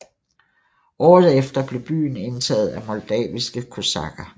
Året efter blev byen indtaget af moldaviske kosakker